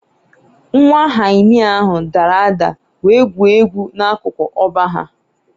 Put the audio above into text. Nwa hyena ahụ dara ada wee gwuo egwu n’akụkụ ọgba ha